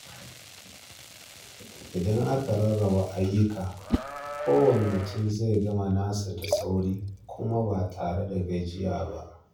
Idan aka rarraba ayyuka, kowane mutum zai gama nasa da sauri kuma ba tare da gajiya ba.